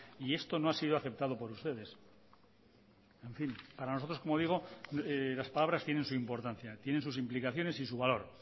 y esto no ha sido aceptado por ustedes en fin para nosotros como digo las palabras tienen su importancia tienen sus implicaciones y su valor